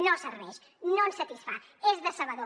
no serveix no ens satisfà és decebedor